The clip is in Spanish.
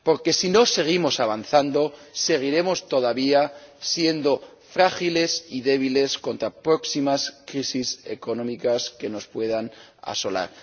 Porque, si no seguimos avanzando, seguiremos todavía siendo frágiles y débiles con las próximas crisis económicas que nos puedan asolar.